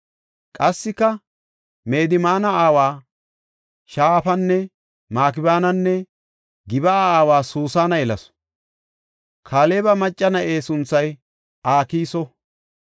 Qassika Medmaana aawa Shafanne Makibeenanne Gib7a aawa Susana yelasu. Kaaleba macca na7e sunthay Akiso.